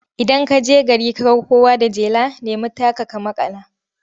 Idan ka je gari ka ga kowa da jela, nemi taka ka maƙala.